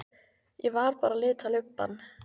Ég var bara að lita lubbann.